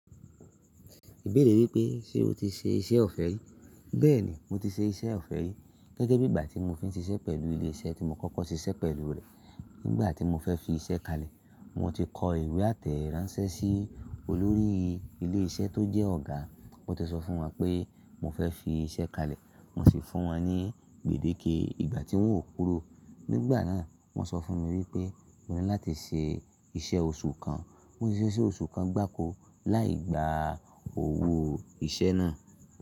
Ìbéèrè wípé ṣe o ti ṣe iṣẹ́ ọ̀fẹ́ rí? Bẹ́ẹ̀ni mo ti ṣe iṣẹ́ ọ̀fẹ́ rí gẹ́gẹ́ bí ìgbà tí mo fi ń ṣiṣẹ́ pẹ̀lú ilé iṣẹ́ tí mo kọ́kọ́ ti ṣiṣẹ́ pẹ̀lú rẹ̀. Nígbà tí mo fẹ́ fi iṣẹ́ kalẹ̀, mo ti kọ ìwé àtẹ ìránṣẹ́ sí olórí ilé iṣẹ́ tó jẹ́ ọ̀gá. Mo ti sọ fún wọn pé mo fẹ́ fi iṣẹ́ kalẹ̀, mo sì fún wọn ní gbèdéke ìgbà tí wọ́n ó korò. Nígbà náà wọ́n sọ fún mi wípé mo ní láti ṣe iṣẹ́ oṣù kan. Mo sì ṣe iṣẹ́ oṣù kan gbákò láì gba òwò iṣẹ́ náà.